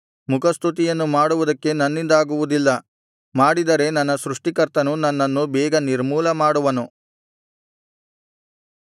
ಮುಖಸ್ತುತಿಯನ್ನು ಮಾಡುವುದಕ್ಕೆ ನನ್ನಿಂದಾಗುವುದಿಲ್ಲ ಮಾಡಿದರೆ ನನ್ನ ಸೃಷ್ಟಿಕರ್ತನು ನನ್ನನ್ನು ಬೇಗ ನಿರ್ಮೂಲ ಮಾಡುವೆನು